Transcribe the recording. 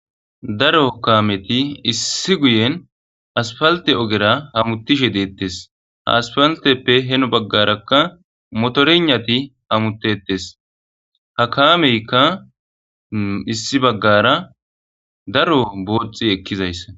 Daaro kaameti issi guyyen asppaltte oggera hametishshe dettes ha aspalteppe heeno baggaraka motoreynati hammetettes ha kaameykka issi baggara daaro boxxi ekkizaysa.